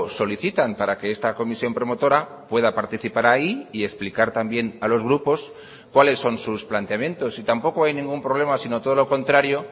solicitan para que esta comisión promotora pueda participar ahí y explicar también a los grupos cuáles son sus planteamientos y tampoco hay ningún problema sino todo lo contrario